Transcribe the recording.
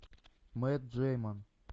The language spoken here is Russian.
мэтт дэймон